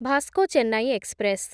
Vasco Chennai express